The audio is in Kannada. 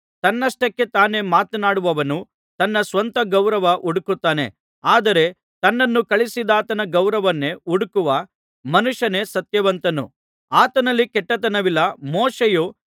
ತನ್ನಷ್ಟಕ್ಕೆ ತಾನೇ ಮಾತನಾಡುವವನು ತನ್ನ ಸ್ವಂತ ಗೌರವ ಹುಡುಕುತ್ತಾನೆ ಆದರೆ ತನ್ನನ್ನು ಕಳುಹಿಸಿದಾತನ ಗೌರವನ್ನೇ ಹುಡುಕುವ ಮನುಷ್ಯನೇ ಸತ್ಯವಂತನು ಆತನಲ್ಲಿ ಕೆಟ್ಟತನವಿಲ್ಲ